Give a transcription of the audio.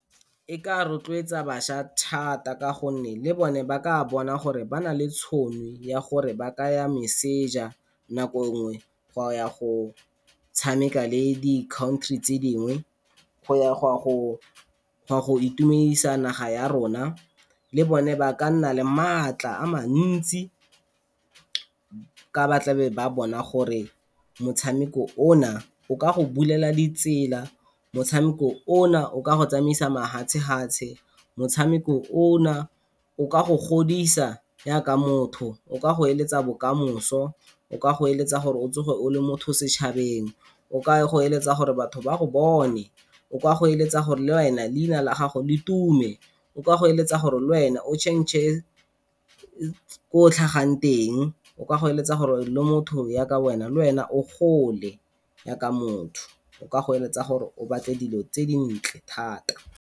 E ka rotloetsa bašwa thata ka gonne le bone ba ka bona gore ba na le tšhono ya gore ba ka ya meseja nako nngwe go ya go tshameka le di-country tse dingwe. Go ya go a go itumedisa naga ya rona, le bone ba ka nna le maatla a mantsi ka ba tle ba bona gore motshameko o na o ka go bulela di tsela. Motshameko o na o ka go tsamaisa mafatshe-fatshe, motshameko o na o ka go godisa jaaka motho, o ka go eletsa bokamoso, o ka go eletsa gore o tsoge o le motho setšhabeng, o ka go eletsa gore batho ba go bone. O ka go eletsa gore le wena leina la gago le tume, o ka go eletsa gore le wena o change-r ko o tlhagang teng, o ka go eletsa gore le motho jaaka wena le wena o gole jaaka motho, o ka go eletsa gore o batle dilo tse dintle thata.